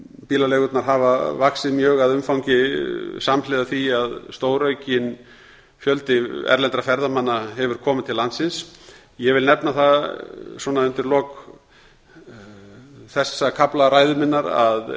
bílaleigurnar hafa vaxið mjög að umfangi samhliða því að stóraukinn fjöldi erlendra ferðamanna hefur komið til landsins ég vil nefna það undir lok þessa kafla ræðu minnar að